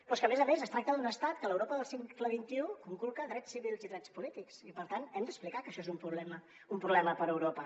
però és que a més a més es tracta d’un estat que a l’europa del segle xxi conculca drets civils i drets polítics i per tant hem d’explicar que això és un problema per a europa